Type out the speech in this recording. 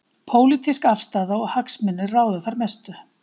Pólitísk afstaða og hagsmunir ráða þar mestu.